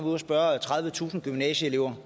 ude og spørge tredivetusind gymnasieelever